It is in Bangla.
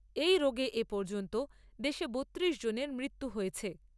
এই রোগে এপর্যন্ত দেশে বত্তিরিশ জনের মৃত্যু হয়েছে।